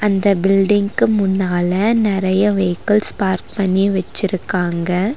அந்த பில்டிங்க்கு முன்னால நெறைய வெஹிகள்ஸ் பார்க் பண்ணி வெச்சிருக்காங்க.